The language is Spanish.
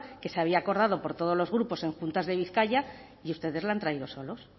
que se había acordado por todos los grupos en juntas de bizkaia y ustedes la han traído solos